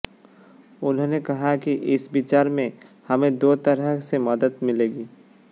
उन्होंने कहा कि इस विचार से हमें दो तरह से मदद मिलेगी